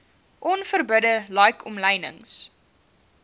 onverbidde like omlynings